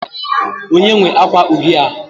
onye nwe akwa uhie a?